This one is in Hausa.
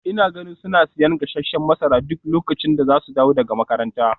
Ina ganin suna siyan gasasshen masara duk lokacin da za su dawo daga makaranta.